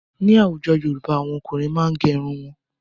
Ní àwùjọ Yorùbá, àwọn ọkùnrin máa n gé irun wọn ni.